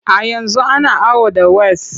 A yanzu ana awo da ways.